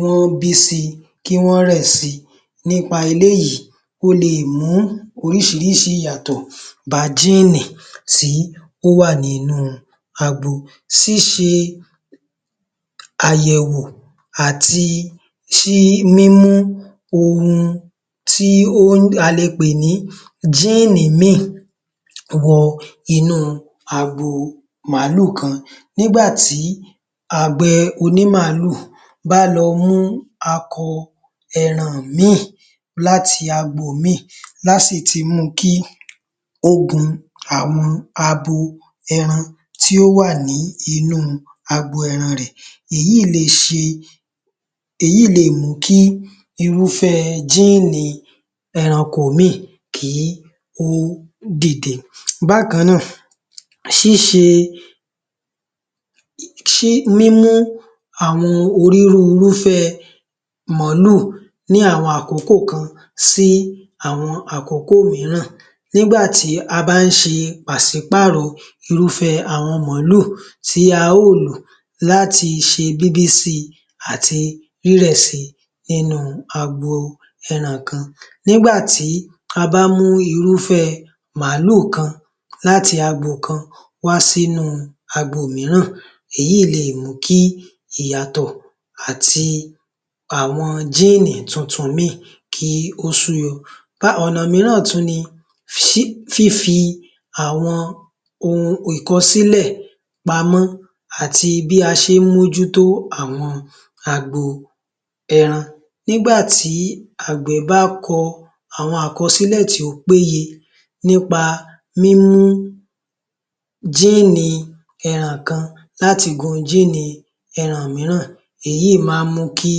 wọ́n bí si, kí wọ́n rẹ̀ si. Nípa eléyìí ó lè mú oríṣiríṣi ìyàtọ̀ bá géènì tí ó wà nínú agbo. Ṣíse àyẹ̀wò àti mímú ohun tí a lè pè ní géènì ìmíì wọ inú agbo màálù kan. Nígbà tí àgbẹ̀ oní màálù bá lọ mú akọ ẹran ìmíì láti agbo ìmíì lá sì ti mu kí ó gun àwọn abo ẹran tí ó wà ní inú agbo ẹran rẹ̀. Èyí le è mu kí irúfẹ́ géènì ẹranko ìmíì kí ó dìde. Bákan náà, mímú àwọn onírúurú irúfẹ́ màálù ní àwọn àkókò kan sí àwọn àkókò míran. Nígbà tí a bá ń ṣe pàṣípàrọ̀ irúfẹ́ àwọn màálù tí a ó lò láti ṣe bíbí si àti rírẹ̀ si nínú agbo ẹran kan. Nígbà tí a bá mú irúfẹ́ màálù kan láti agbo kan wá sínú agbo míran, èyí le è mú kí ìyàtọ̀ àti àwọn géènì tuntun ìmíì kí ó sú yọ. Ọ̀nà míràn tún ni, fífi àwọn ìkọsílẹ̀ pamọ́ àti bí a ṣe ń mójútó àwọn agbo ẹran. Nígbà tí àgbẹ̀ bá kọ àwọn àkọsílẹ̀ tí ó péye nípa mímú géènì ẹran kan láti gun géènì ẹran míràn, èyí má ń mú kí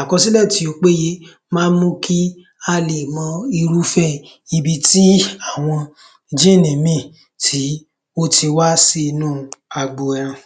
àkọsílẹ̀ tí ó péye má ń mú kí a le è mọ irúfẹ́ ibi tí àwọn géènì ìmíì tí ó ti wá sí inú agbo ẹran.